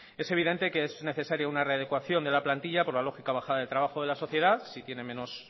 es evidente que es necesario una readecuación de la plantilla por la lógica bajada de trabajo de la sociedad si tiene menos